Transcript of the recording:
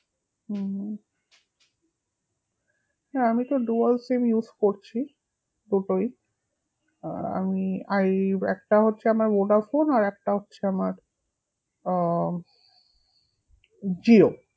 হুম হ্যাঁ আমিতো dual sim use করছি, দুটোই আহ আমি এই একটা হচ্ছে আমার ভোডাফোন আর একটা হচ্ছে আমার আহ জিও